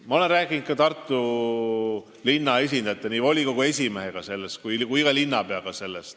Ma olen rääkinud Tartu linna esindajatega, nii volikogu esimehega kui ka linnapeaga.